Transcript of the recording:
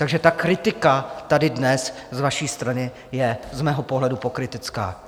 Takže ta kritika tady dnes z vaší strany je z mého pohledu pokrytecká.